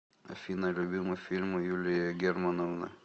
афина любимый фильм у юлии германовны